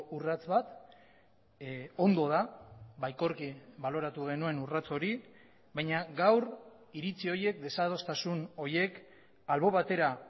urrats bat ondo da baikorki baloratu genuen urrats hori baina gaur iritzi horiek desadostasun horiek albo batera